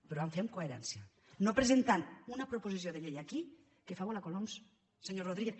però ho vam fer amb coherència no presentant una proposició de llei aquí que fa volar coloms senyor rodríguez